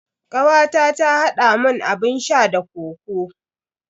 Kawata ta haɗa mun abun sha da kokoo.